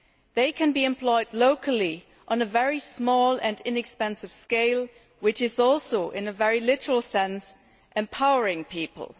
They can be employed locally on a very small and inexpensive scale, which is also, in a very literal sense, empowering people.